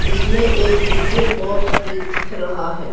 इसमें एक DJ box भी दिख रहा है।